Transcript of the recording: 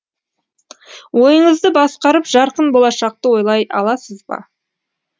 ойыңызды басқарып жарқын болашақты ойлай аласыз ба